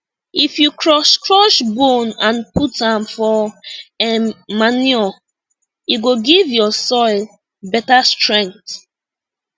if you crush crush bone and put am for um manure e go give your soil better strength